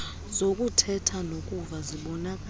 zokuthetha nokuva zibonakala